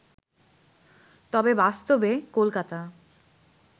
তবে বাস্তবে কলকাতা